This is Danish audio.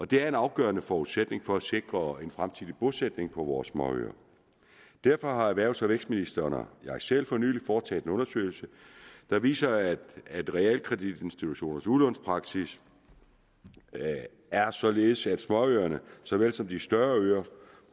det er en afgørende forudsætning for at sikre en fremtidig bosætning på vores småøer derfor har erhvervs og vækstministeren og jeg selv for nylig foretaget en undersøgelse der viser at realkreditinstitutionernes udlånspraksis er således at småøerne såvel som de større øer